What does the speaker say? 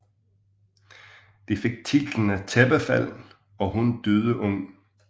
De fik titlerne Tæppefald og Hun døde ung